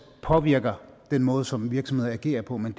påvirker den måde som virksomheder agerer på men